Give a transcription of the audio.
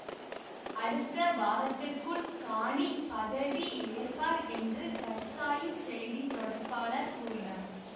அடுத்த வாரத்திற்குள் கானி பதவியேற்பார் என்று கர்சாயின் செய்திதொடர்பாளர் கூறினார்